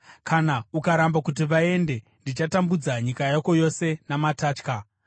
Kana ukaramba kuti vaende, ndichatambudza nyika yako yose namatatya.